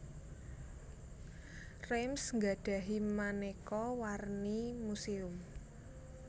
Reims nggadhahi manéka warni muséum